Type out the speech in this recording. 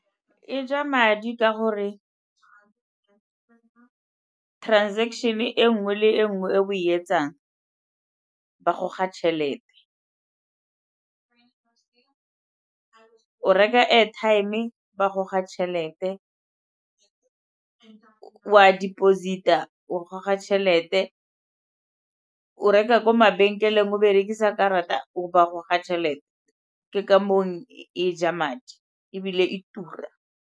E ja madi ka gore transaction-e e nngwe le nngwe e o e etsang ba goga tšhelete. O reka airtime, ba goga tšhelete, o a deposit-a o goga tšhelete, o reka ko mabenkeleng a berekisa karata ba goga tšhelete, ke ka moo e ja madi ebile e tura.